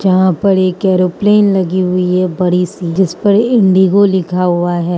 यहां पर एक एयरोप्लेन लगी हुई है बड़ी सी जिस पर इंडिगो लिखा हुआ है।